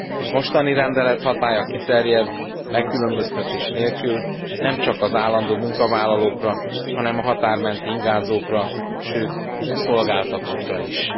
A mostani rendelet hatálya kiterjed megkülönböztetés nélkül nemcsak az állandó munkavállalókra, hanem a határ menti ingázókra, sőt a szolgáltatókra is.